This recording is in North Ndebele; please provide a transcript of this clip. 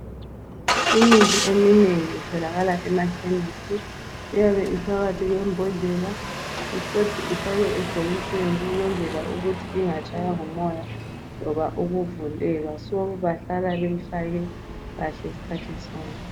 Imithi eminengi itholakala emakhemisi. Iyabe iphakathi kwembodlela yafakwa emabhokisini ukuze ingatshaywa ngumoya kumbe ukuvuleķa.